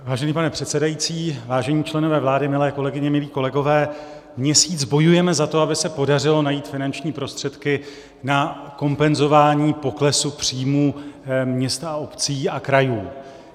Vážený pane předsedající, vážení členové vlády, milé kolegyně, milí kolegové, měsíc bojujeme za to, aby se podařilo najít finanční prostředky na kompenzování poklesu příjmů měst, obcí a krajů.